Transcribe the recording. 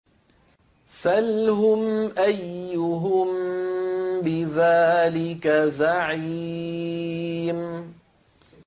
سَلْهُمْ أَيُّهُم بِذَٰلِكَ زَعِيمٌ